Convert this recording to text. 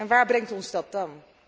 Waar brengt ons dat dan?